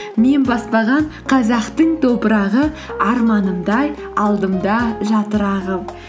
мен баспаған қазақтың топырағы арманымдай алдымда жатыр ағып